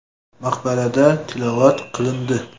Maqbarada tilovat qilindi.